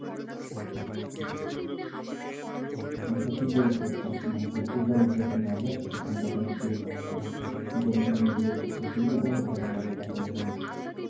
হ্যাঁ, এটা ঠিক বলেছো অর্থাৎ মানে গোসল করার যে একটা মজা সেটা ঠাণ্ডা পানি দিয়ে পাওয়া যায় গরম পানি দিয়ে গোসল করলে গোসল করার মজাটা পাওয়া যায় না,